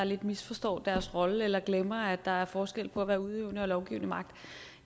lidt misforstår deres rolle eller glemmer at der er forskel på at være udøvende og lovgivende magt